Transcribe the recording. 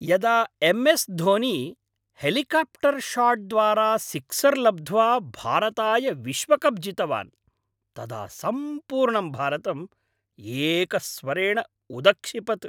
यदा M S Dhoni, helicopter शाट्द्वारा sixer लब्ध्वा भारताय विश्वकप् जितवान्, तदा सम्पूर्णं भारतम् एकस्वरेण उदक्षिपत्।